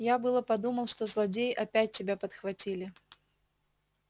я было думал что злодеи опять тебя подхватили